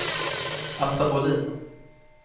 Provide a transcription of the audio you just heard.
Asta Bohlin